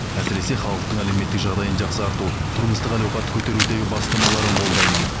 әсіресе халықтың әлеуметтік жағдайын жақсарту тұрмыстық әл ауқатты көтерудегі бастамаларын қолдаймын